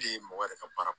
mɔgɔ yɛrɛ ka baara